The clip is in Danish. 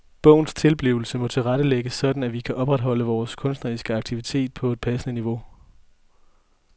Bogens tilblivelse må tilrettelægges sådan at vi kan opretholde vores kunstneriske aktivitet på et passende niveau.